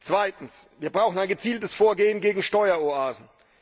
Zweitens Wir brauchen ein gezieltes Vorgehen gegen Steueroasen.